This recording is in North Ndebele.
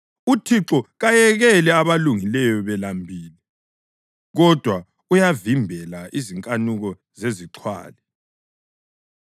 UThixo kayekeli abalungileyo belambile kodwa uyavimbela izinkanuko zezixhwali.